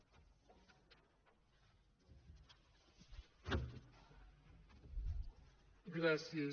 gràcies